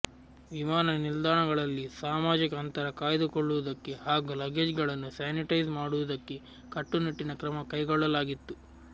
ವಿಮಾನ ನಿಲ್ದಾಣಗಳಲ್ಲಿ ಸಾಮಾಜಿಕ ಅಂತರ ಕಾಯ್ದುಕೊಳ್ಳುವುದಕ್ಕೆ ಹಾಗೂ ಲಗೇಜ್ಗಳನ್ನು ಸ್ಯಾನಿಟೈಸ್ ಮಾಡುವುದಕ್ಕೆ ಕಟ್ಟುನಿಟ್ಟಿನ ಕ್ರಮ ಕೈಗೊಳ್ಳಲಾಗಿತ್ತು